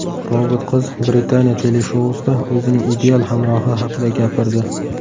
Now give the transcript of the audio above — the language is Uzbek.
Robot qiz Britaniya teleshousida o‘zining ideal hamrohi haqida gapirdi .